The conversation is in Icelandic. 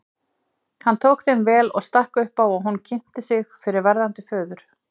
Hann tók þeim vel og stakk upp á að hún kynnti sig fyrir verðandi föður.